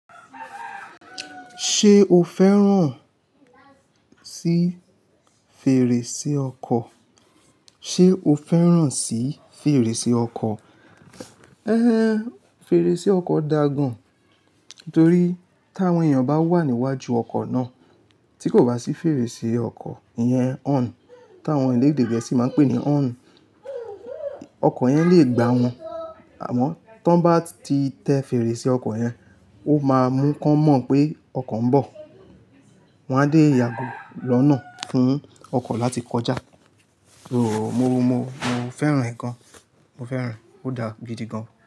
Ṣé o fẹ́ràn sí fèrèsé ọkọ̀? Ṣé o fẹ́ràn sí fèrèsé ọkọ̀? Éhén, fèrèsé ọkọ̀ da gán torí t'àwọn èèyàn bá wà níwájú ọkọ̀ náà tí kò bá sí fèrèsé ọkọ̀, ìyẹn horn, táwọn eléèdè gẹ̀ẹ́sì máa ń pè ní horn, ọkọ̀ yẹn le gbà wọ́n. Àmọ́ tọ́n bá ti tẹ fèrèsé ọkọ̀ yẹn, ó máa mú wọ́n mọ̀ pé ọkọ̀ ń bọ̀. Wọn á dé yàgọ́ lọ́nà fún ọkọ̀ láti kọjá. Ooo, mo, mo, mo fẹ́ràn ẹ̀ gan. Mo fẹ́ràn ẹ, ó dáa gidi gan.